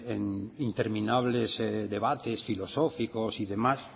en interminable debates filosóficos y demás